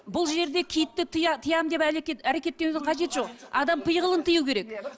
бұл жерде киітті тиямын деп әрекеттеудің қажеті жоқ адам пиғылын тыю керек